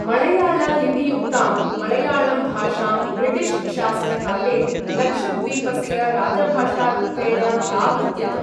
मळयाळ लिपियुक्तां मळयाळम् भाषां ब्रिटिश् शासन काले लक्षद्वीपस्य राजभाषारूपेण प्रावृत्यत।